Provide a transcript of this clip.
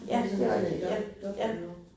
Ja, det rigtigt, ja ja